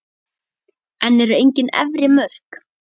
En eru engin efri mörk?